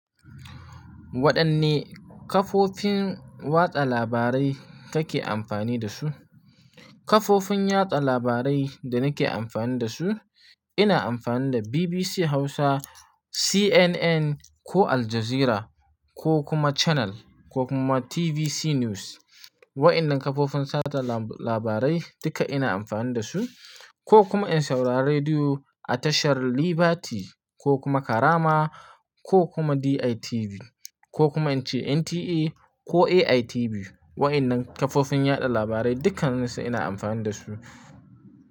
Waɗanne kafofin watsa labarai kake amfani da su? Kafofin yaɗa labarai da nake amfani da su, ina amfani da BBC Hausa, CNN ko Al Jazeera ko kuma Channel ko kuma TVC News. Waɗannan kafofin sada labarai duka ina amfani da su ko kuma in saurari rediyo a tashar Liberty ko kuma Karama ko kuma DITV ko kuma in ce NTA ko AITV. Waɗannan kafofin yaɗa labarai dukkannisu ina amfani da su.